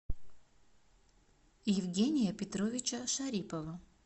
евгения петровича шарипова